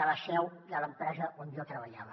de la seu de l’empresa on jo treballava